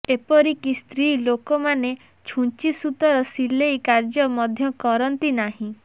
ଏପରିକି ସ୍ତ୍ରୀ ଲୋକମୋନ ଛୁଂଚି ସୂତାର ସିଲେଇ କାର୍ଯ୍ୟ ମଧ୍ୟ କରନ୍ତି ନାହିଁ